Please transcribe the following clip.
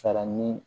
Salaɲini